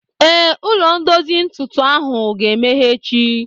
Ee, ụlọ ndozi ntụtụ ahụ ga-emeghe echi